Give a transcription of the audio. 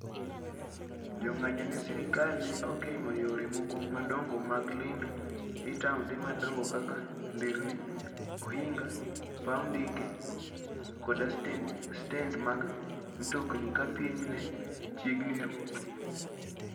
Jo ng'anyo ne sirkal ne ogeng'o yore moko madongo mag lendo e taonde madongo kaka nderni, ohinga, paw ndege, koda stend mag mtokni ka piny ne chiegni ru.